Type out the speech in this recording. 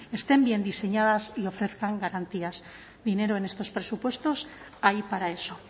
estén bien diseñadas y ofrezcan garantías dinero en estos presupuestos hay para eso